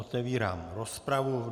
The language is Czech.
Otevírám rozpravu.